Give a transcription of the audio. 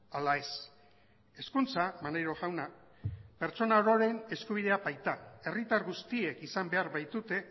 ala ez hezkuntza maneiro jauna pertsona ororen eskubidea baita herritar guztiek izan behar baitute